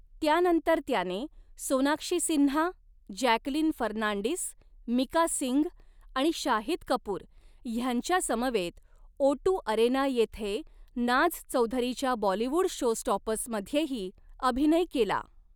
त्यानंतर त्याने सोनाक्षी सिन्हा, जॅकलीन फर्नांडिस, मिका सिंग आणि शाहिद कपूर ह्यांच्यासमवेत ओटू अरेना येथे नाझ चौधरीच्या बॉलीवूड शोस्टॉपर्समध्येही अभिनय केला.